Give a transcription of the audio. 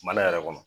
Mana yɛrɛ kɔnɔ